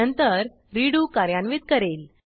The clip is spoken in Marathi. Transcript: नंतर रेडो कार्यान्वित करेल